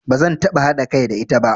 Ba zan taɓa haɗa kai da ita ba.